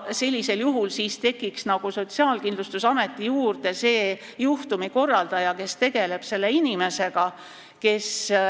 Sellisel juhul tekiks Sotsiaalkindlustusameti juurde juhtumikorraldaja, kes selle inimesega tegeleb.